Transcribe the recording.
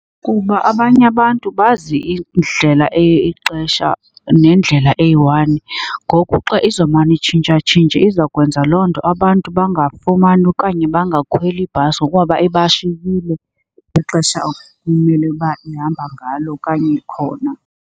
Kuba abanye abantu bazi indlela enye ixesha nendlela eyi-one. Ngoku xa izomane itshintshatshintshe izawukwenza loo nto abantu bangafumani okanye bangakhweli ibhasi ngokuba ibashiye ixesha ekumele uba ihamba ngalo okanye ikhona.